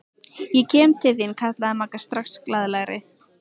Ég kem til þín kallaði Magga strax glaðlegri.